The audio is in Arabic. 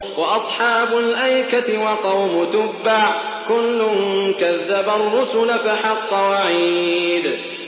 وَأَصْحَابُ الْأَيْكَةِ وَقَوْمُ تُبَّعٍ ۚ كُلٌّ كَذَّبَ الرُّسُلَ فَحَقَّ وَعِيدِ